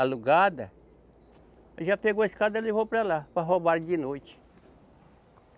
alugada, já pegou a escada e levou para lá, para roubarem de noite.